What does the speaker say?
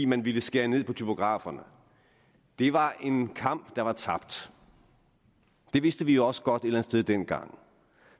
man ville skære ned på typograferne det var en kamp der var tabt det vidste vi også godt et eller andet sted dengang